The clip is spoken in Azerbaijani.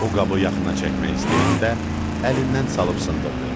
O qabı yaxına çəkmək istəyəndə əlindən salıb sındırdı.